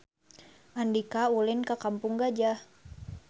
Andika ulin ka Kampung Gajah